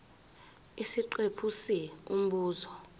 isiqephu c umbuzo